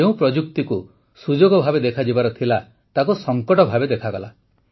ଯେଉଁ ପ୍ରଯୁକ୍ତିକୁ ସୁଯୋଗ ଭାବେ ଦେଖାଯିବାର ଥିଲା ତାକୁ ସଙ୍କଟ ଭାବେ ଦେଖାଗଲା